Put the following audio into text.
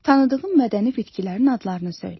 Tanıdığın mədəni bitkilərin adlarını söylə.